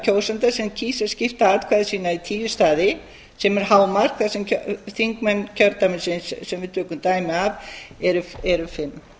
kjósanda sem kýs að skipta atkvæði sínu í tíu staði sem er hámark þar sem þingmenn kjördæmisins eru fimm